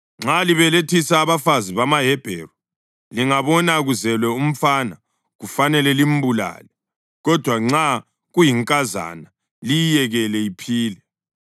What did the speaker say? “Nxa libelethisa abafazi bamaHebheru, lingabona kuzelwe umfana kufanele limbulale; kodwa nxa kuyinkazana, liyiyekele iphile.”